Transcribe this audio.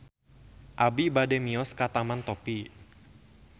Abi bade mios ka Taman Topi